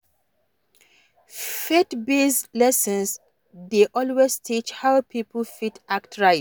Faith based lesson dey always teach how pipo fit act right